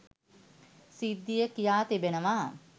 සිද්ධිය කියා තිබෙනවා.